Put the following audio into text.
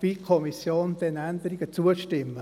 wie die Kommission, diesen Änderungen zuzustimmen.